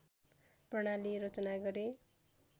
प्रणाली रचना गरे